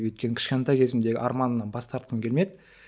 өйткені кешкентай кезімдегі арманымнан бас тартқым келмеді